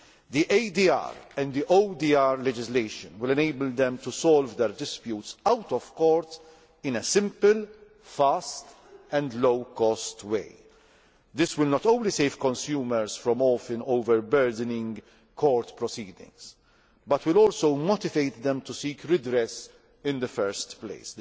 The ADR and ODR legislation will enable them to solve their disputes out of court in a simple, fast and low cost way. This will not only save consumers from often overburdening court proceedings, but will also motivate them to seek redress in the first place.